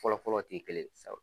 Fɔlɔfɔlɔ te kelen ye sabu